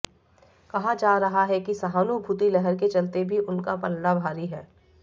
कहा जा रहा है कि सहानुभूति लहर के चलते भी उनका पलड़ा भारी है